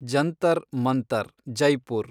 Jantar Mantar, Jaipur